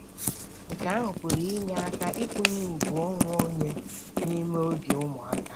Nke ahụ pụrụ inye aka ịkụnye ùgwù onwe onye n'ime obi ụmụaka.